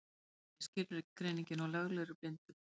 Hvað er skilgreiningin á löglegri blindu?